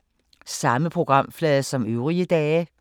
Samme programflade som øvrige dage